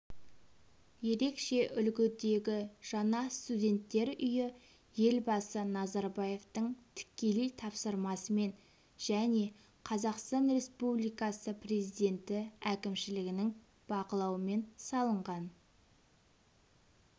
ерекше үлгідегі жаңа студенттер үйі елбасы назарбаевтың тікелей тапсырмасымен және қазақстан республикасы президенті әкімшілігінің бақылауымен салынған